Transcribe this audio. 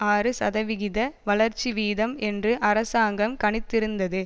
ஆறு சதவிகித வளர்ச்சி வீதம் என்று அரசாங்கம் கணித்திருந்தது